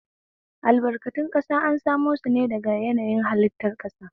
Albarkatun ƙasa an samo shine daga yanayin hallitar ƙasa.